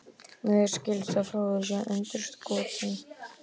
Mér skilst að Fróði sé sundurskotinn.